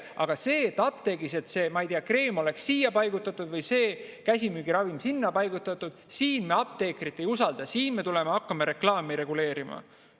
Aga et apteegis see kreem oleks siia paigutatud või see käsimüügiravim sinna paigutatud, siin me apteekrit ei usalda, siin me tuleme ja hakkame reklaami reguleerima.